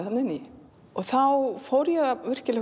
þarna inn í og þá fór ég virkilega